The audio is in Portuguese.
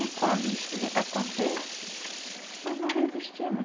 E quando isso acontece, nós não resistimos.